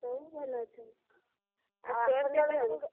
ସବୁ ଭଲ ଅଛନ୍ତି। ।